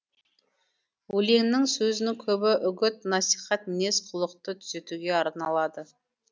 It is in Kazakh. өлеңнің сөзінің көбі үгіт насихат мінез құлықты түзетуге арналады